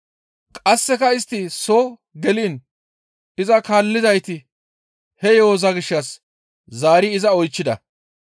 Qasseka istti soo geliin iza kaallizayti he yo7oza gishshas zaari iza oychchida.